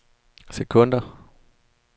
sekunder